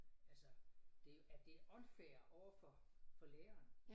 Altså det at det unfair overfor for læreren